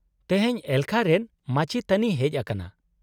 -ᱛᱮᱦᱮᱧ ᱮᱞᱠᱷᱟ ᱨᱮᱱ ᱢᱟᱪᱮᱛᱟᱱᱤᱭ ᱦᱮᱡ ᱟᱠᱟᱱᱟ ?